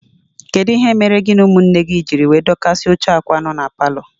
Kedụ ihe mere gị na ụmụnne gị jírí wee dokasia óche akwa akwa nọ n'paló?